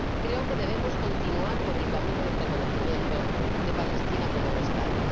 Creo que debemos continuar por el camino del reconocimiento de Palestina como un Estado.